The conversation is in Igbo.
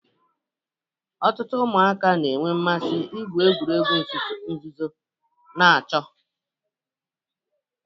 Ọtụtụ ụmụaka na-enwe mmasị igwu egwuregwu nzuzo na ịchọ